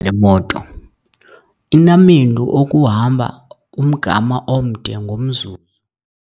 le moto inamendu okuhamba umgama omde ngomzuzu.